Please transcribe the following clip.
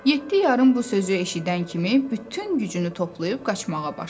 Yeddi yarım bu sözü eşidən kimi bütün gücünü toplayıb qaçmağa başladı.